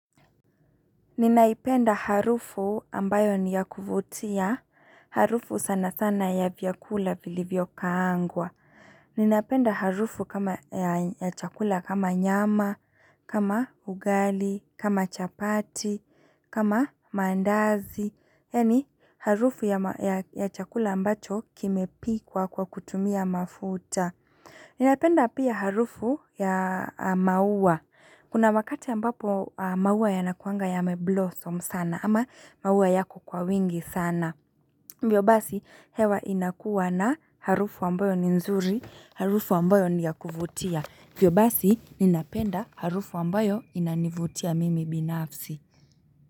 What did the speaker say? Ninaipenda harufu ambayo niyakuvutia, harufu sana sana ya vyakula vili vyokaangwa. Ninaipenda harufu kama ya chakula kama nyama, kama ugali, kama chapati, kama mandazi. Yani harufu ya chakula ambacho kime pikuwa kwa kutumia mafuta. Ninaipenda pia harufu ya mauwa. Kuna wakati ambapo maua yanakuanga yameblossom sana ama maua yako kwa wingi sana Vyo basi hewa inakuwa na harufu wambayo ni nzuri, harufu wambayo niyakuvutia Vyo basi ninapenda harufu wambayo inanivutia mimi binafsi.